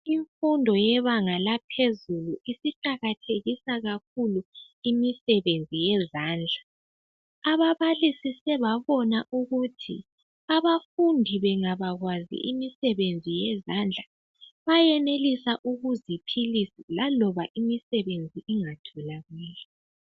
Imfundo yebanga yaphezulu isiqakathekisa kakhulu imisebenzi yezandla. Ababalisi sebabona ukuthi abafundi bangabakwazi imisebenzi yezandla bayenelisa ukuziphilisa laloba imisebenzi ingatholakali.